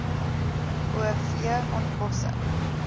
o v ontbossing